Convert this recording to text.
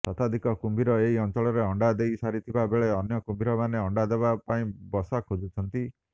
ଶତାଧିକ କୁମ୍ଭୀର ଏହି ଅଞ୍ଚଳରେ ଅଣ୍ଡା ଦେଇ ସାରିଥିବା ବେଳେ ଅନ୍ୟ କୁମ୍ଭୀରମାନେ ଅଣ୍ଡାଦେବା ପାଇଁ ବସା ଖୋଜୁଛନ୍ତି